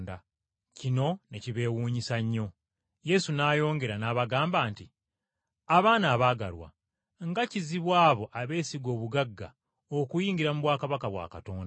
Kino ne kibeewuunyisa nnyo. Yesu n’ayongera n’abagamba nti, “Abaana abaagalwa, nga kizibu abo abeesiga obugagga okuyingira mu bwakabaka bwa Katonda!